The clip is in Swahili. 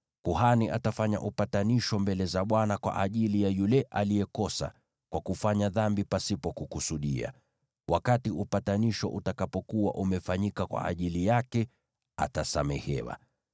Kuhani atafanya upatanisho mbele za Bwana kwa ajili ya yule aliyekosa kwa kufanya dhambi pasipo kukusudia, upatanisho utakapofanywa kwa ajili yake, atasamehewa.